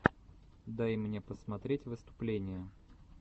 дай мне посмотреть выступления